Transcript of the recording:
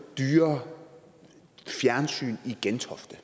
dyrere fjernsyn i gentofte